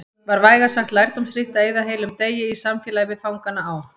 Var vægast sagt lærdómsríkt að eyða heilum degi í samfélagi við fangana á